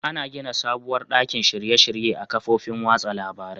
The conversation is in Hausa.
Ana gina sabuwar ɗakin shirye -shirye a kafofin watsa labarain.